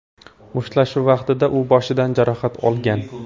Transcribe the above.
Mushtlashuv vaqtida u boshidan jarohat olgan.